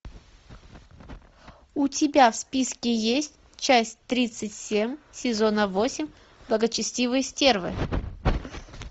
у тебя в списке есть часть тридцать семь сезона восемь благочестивые стервы